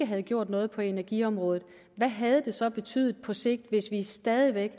havde gjort noget på energiområdet hvad havde det så betydet på sigt hvis vi stadig væk